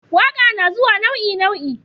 waƙa nazuwa nau'i nau'i